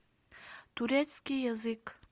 турецкий язык